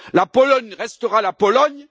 La Pologne restera la Pologne.